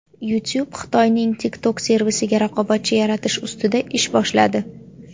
YouTube Xitoyning TikTok servisiga raqobatchi yaratish ustida ish boshladi.